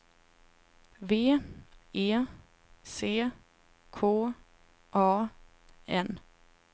V E C K A N